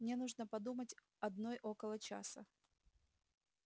мне нужно подумать одной около часа